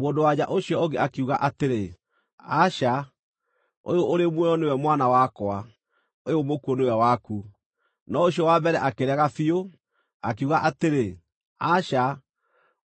Mũndũ-wa-nja ũcio ũngĩ akiuga atĩrĩ, “Aca! Ũyũ ũrĩ muoyo nĩwe mwana wakwa; ũyũ mũkuũ nĩwe waku.” No ũcio wa mbere akĩrega biũ, akiuga atĩrĩ, “Aca!